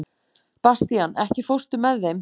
Bastían, ekki fórstu með þeim?